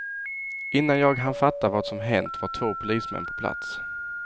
Innan jag hann fatta vad som hänt var två polismän på plats.